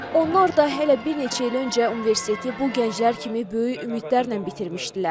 Onlar da hələ bir neçə il öncə universiteti bu gənclər kimi böyük ümidlərlə bitirmişdilər.